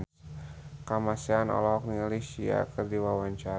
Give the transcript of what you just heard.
Kamasean olohok ningali Sia keur diwawancara